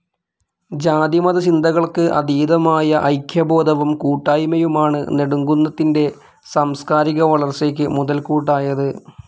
ജാതിമത ചിന്തകൾക്ക് അതീതമായ ഐക്യബോധവും കൂട്ടായ്മയുമാണ് നെടുംകുന്നത്തിൻ്റെ സാംസ്കാരിക വളർച്ചയ്ക്ക് മുതൽകൂട്ടായത്.